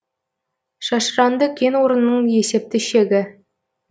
шашыранды кен орнының есепті шегі